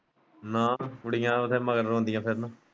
ਕੁੜੀਆਂ ਉਹਦੇ ਮਗਰ ਰੋਂਦੀਆਂ ਫਿਰਨ।